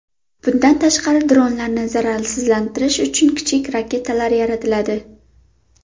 Bundan tashqari, dronlarni zararsizlantirish uchun kichik raketalar yaratiladi.